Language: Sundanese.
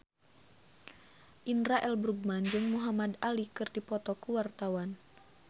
Indra L. Bruggman jeung Muhamad Ali keur dipoto ku wartawan